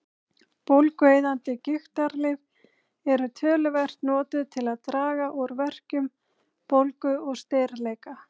Bólgueyðandi gigtarlyf eru töluvert notuð til að draga úr verkjum, bólgu og stirðleika.